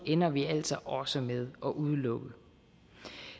ender vi altså også med at udelukke